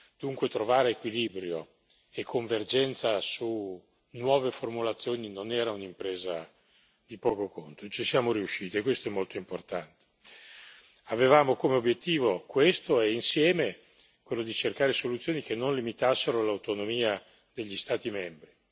Dunque trovare equilibrio e convergenza su nuove formulazioni non era un'impresa di poco conto, ci siamo riusciti e questo è molto importante. Avevamo come obiettivo questo e, insieme, quello di cercare soluzioni che non limitassero l'autonomia degli Stati membri.